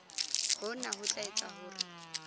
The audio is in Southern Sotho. hona ho tla etsa hore